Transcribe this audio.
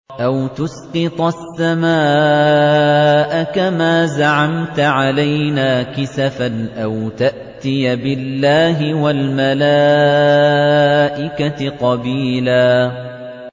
أَوْ تُسْقِطَ السَّمَاءَ كَمَا زَعَمْتَ عَلَيْنَا كِسَفًا أَوْ تَأْتِيَ بِاللَّهِ وَالْمَلَائِكَةِ قَبِيلًا